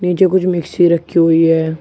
नीचे कुछ मिक्सी रखी हुई है।